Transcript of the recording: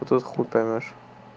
тут хуй поймёшь